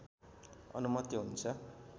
अनुमति हुन्छ